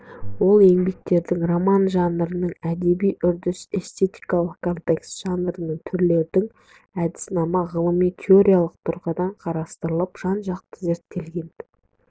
ол еңбектерде роман жанрының әдеби үрдіс эстетикалық контекс жанрлық түрлердің әдіснамасы ғылыми-теориялық тұрғыдан қарастырылып жан-жақты зерттелген